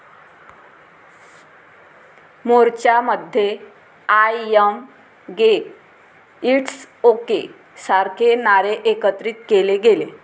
मोर्च्यामध्ये 'I am gay, it's okay' सारखे नारे एकत्रित केले गेले.